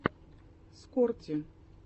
скорти